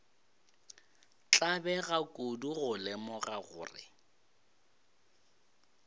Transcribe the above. tlabega kudu go lemoga gore